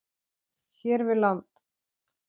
hér við land.